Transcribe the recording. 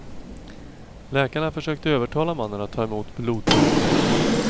Läkarna försökte övertala mannen att ta emot blodtransfusionen.